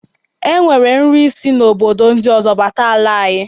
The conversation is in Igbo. E nwere nri si obodo ndị ọzọ bata ala anyị.